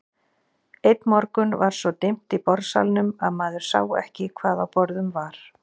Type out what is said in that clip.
Einn morgun var svo dimmt í borðsalnum að maður sá ekki hvað á borðum var.